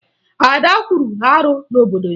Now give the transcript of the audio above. Ada kwuru arụ n'obodo ya